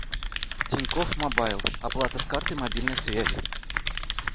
тинькофф мобайл оплата с карты мобильной связи